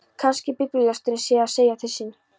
Kannski biblíulesturinn sé að segja til sín.